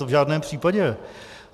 To v žádném případě.